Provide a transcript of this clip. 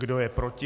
Kdo je proti?